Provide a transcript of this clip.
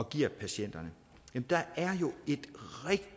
giver patienterne der